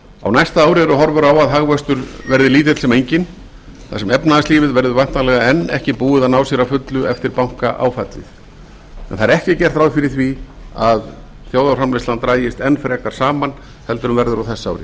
á næsta ári eru horfur á að hagvöxtur verði lítill sem enginn þar sem efnahagslífið verður væntanlega ekki enn búið að ná sér að fullu eftir bankaáfallið en það er ekki gert ráð fyrir því að þjóðarframleiðslan dragist enn frekar saman heldur en verður á þessu ári